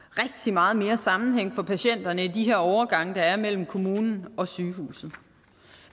meget mere sammenhæng for patienterne i de her overgange der er mellem kommunen og sygehuset